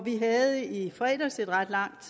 vi havde i fredags et ret langt